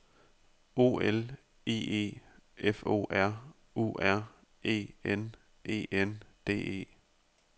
O L I E F O R U R E N E N D E